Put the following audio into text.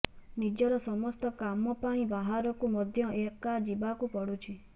ନିଜର ସମସ୍ତ କାମ ପାଇଁ ବାହାରକୁ ମଧ୍ୟ ଏକା ଯିବାକୁ ପଡୁଛି